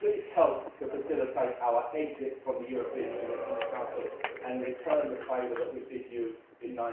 May. Please help to facilitate our exit from the European Union in the Council, and return the favour that we did you